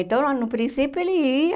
Então, lá no princípio ele ia,